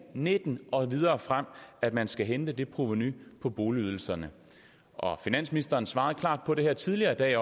nitten og videre frem at man skal hente det provenu på boligydelserne og finansministeren svarede også klart på det her tidligere i dag